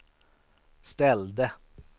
ställde